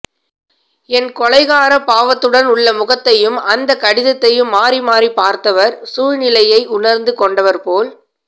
என் கொலைகார பாவத்துடன் உள்ள முகத்தையும் அந்தக் கடிதத்தையும் மாறிமாறிப் பார்த்தவர் சூழ்நிலையை உணர்ந்து கொண்டவர் போல்